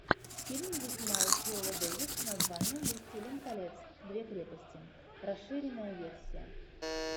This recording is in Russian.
фильм где снималась виола дэвис с названием властелин колец две крепости расширенная версия